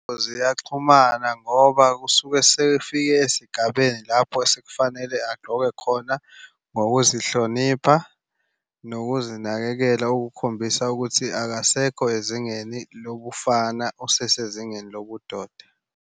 Ziyaxhumana ngoba kusuke esefike esigabeni lapho sekufanele agqoke khona ngokuzihlonipha nokuzinakekela okukhombisa ukuthi akasekho ezingeni lobufana, usesezingeni lobudoda.